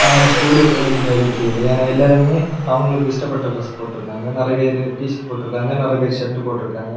ஆனா ஸ்கூலோ காலேஜ் மாறியே தெரியல. ஏன்னா எல்லாருமே அவங்களுக்கு இஷ்டப்பட்ட டிரெஸ் போட்டுருக்காங்க. நிறைய பேரு டி_ஷர்ட் போட்டுருக்காங்க. நிறைய பேரு ஷர்ட் போட்டுருக்காங்க.